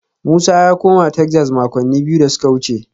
Musa ya koma Texas makonni biyu da suka wuce